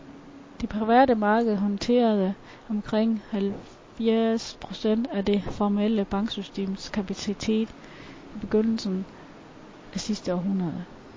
Det private marked håndterede omkring halvfjerds procent af det formelle banksystems kapacitet i begyndelsen af sidste århundrede.